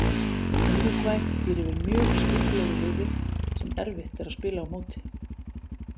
Úrúgvæ býr yfir mjög skipulögðu liði sem erfitt er að spila á móti.